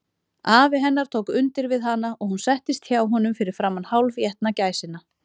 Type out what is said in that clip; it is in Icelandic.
Afi hennar tók undir við hana, og hún settist hjá honum fyrir framan hálfétna gæsina.